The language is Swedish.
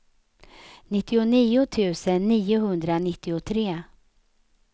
nittionio tusen niohundranittiotre